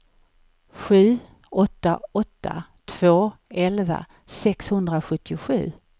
sju åtta åtta två elva sexhundrasjuttiosju